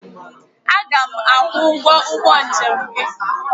Aga m akwụ ụgwọ ụgbọ njem gị.